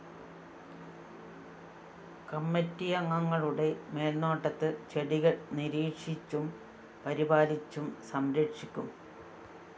കമ്മറ്റിയംഗങ്ങളുടെ മേല്‍നോട്ടത്തില്‍ ചെടികള്‍ നിരീക്ഷിച്ചും പരിപാലിച്ചും സംരക്ഷിക്കും